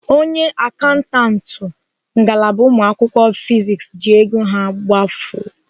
Onye akaụntantụ ngalaba ụmụakwụkwọ) fiziks ji ego ha gbafuo.